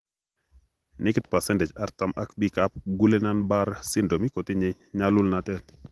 Nekit pasendech artam ab biikab Guillan Barr syndrome kotinye nyalulnatet